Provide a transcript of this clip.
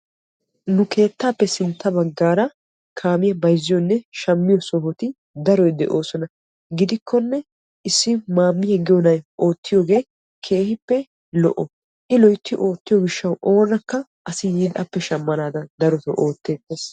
Nu keettappe sintta bagan kaamiya bayzziyo keettappe issoy keehippe lo'o yaattiyo gishawu asay yiidi appe shammees.